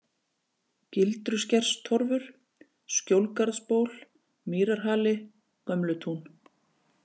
Gildruskerstorfur, Skjólgarðsból, Mýrarhali, Gömlutún